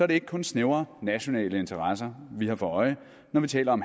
ikke kun snævre nationale interesser vi har for øje når vi taler om